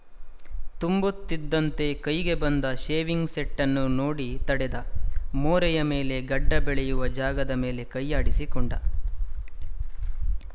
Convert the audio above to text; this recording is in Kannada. ತುಂಬುತ್ತಿದ್ದಂತೆ ಕೈಗೆ ಬಂದ ಶೇವಿಂಗ್‍ಸೆಟ್ಟನ್ನು ನೋಡಿ ತಡೆದ ಮೋರೆಯ ಮೇಲೆ ಗಡ್ಡ ಬೆಳೆಯುವ ಜಾಗದ ಮೇಲೆ ಕೈಯಾಡಿಸಿಕೊಂಡ